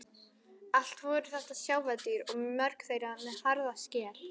Allt voru þetta sjávardýr og mörg þeirra með harða skel.